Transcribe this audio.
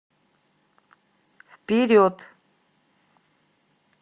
вперед